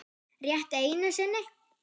Rétt einu sinni.